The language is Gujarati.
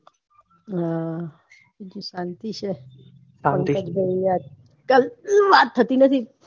હમ શાંતિ છે વાત થતી નથી